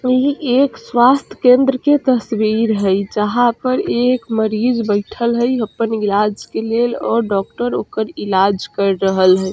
इ एक स्वास्थ केंद्र के तस्वीर हई जहाँ पर एक मरीज बैठल है अपन इलाज के लेल और डॉक्टर ओकर इलाज केर रहल हई।